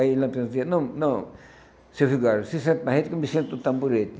Aí o Lampião dizia, não, não, seu Vigário, se senta na rede que eu me sento no tamborete.